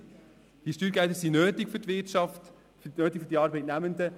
Die Steuergelder sind nötig für die Wirtschaft und für die Arbeitnehmenden.